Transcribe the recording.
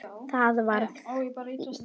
Það varð við því.